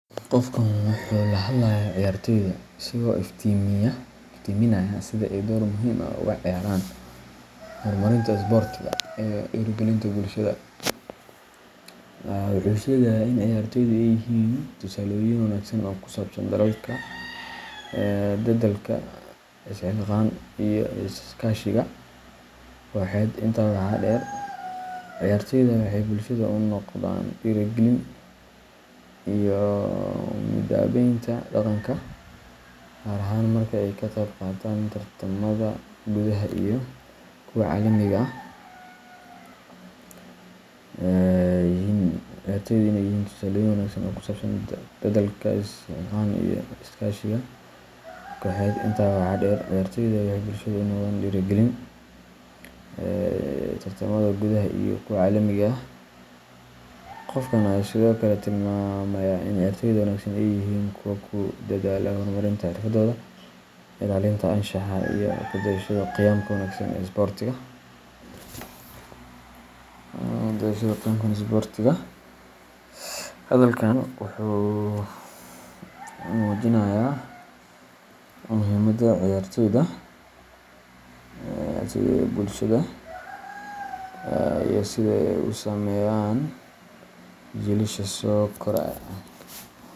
Qofkan wuxuu ka hadlayaa ciyaartoyda, isagoo iftiiminaya sida ay door muhiim ah uga ciyaaraan horumarinta isboortiga iyo dhiirrigelinta bulshada. Wuxuu sheegayaa in ciyaartoydu ay yihiin tusaalooyin wanaagsan oo ku saabsan dadaalka, isxilqaan, iyo iskaashiga kooxeed. Intaa waxaa dheer, ciyaartoyda waxay bulshada u noqdaan dhiirrigelin iyo midabaynta dhaqanka, gaar ahaan marka ay ka qayb qaataan tartamada gudaha iyo kuwa caalamiga ah. Qofkan ayaa sidoo kale tilmaamaya in ciyaartoyda wanaagsan ay yihiin kuwa ku dadaala horumarinta xirfadooda, ilaalinta anshaxa, iyo ku dayashada qiyamka wanaagsan ee isboortiga. Hadalkaan wuxuu muujinayaa muhiimadda ciyaartoyda ee bulshada iyo sida ay u saameeyaan jiilasha soo koraya.